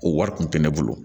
O wari kun tɛ ne bolo